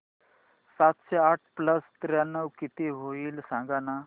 सातशे आठ प्लस त्र्याण्णव किती होईल सांगना